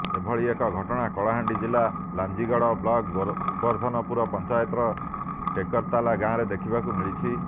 ଏଭଳି ଏକ ଘଟଣା କଳାହାଣ୍ଡି ଜିଲା ଲାଞ୍ଜିଗଡ଼ ବ୍ଲକ ଗୋବର୍ଦ୍ଧନପୁର ପଞ୍ଚାୟତର ଟେକରତଲା ଗାଁରେ ଦେଖିବାକୁ ମିଳିଛି